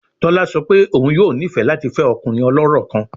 Tola sọ pe oun yoo nifẹ lati fẹ ọkunrin ọlọrọ kan